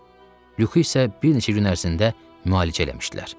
Lüko isə bir neçə gün ərzində müalicə eləmişdilər.